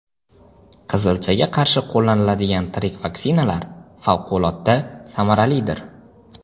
Qizilchaga qarshi qo‘llaniladigan tirik vaksinalar favqulodda samaralidir.